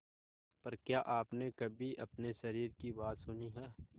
पर क्या आपने कभी अपने शरीर की बात सुनी है